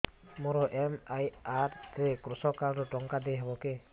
ମୋର ଏମ.ଆର.ଆଇ ରେ କୃଷକ କାର୍ଡ ରୁ ଟଙ୍କା ଦେଇ ହବ କି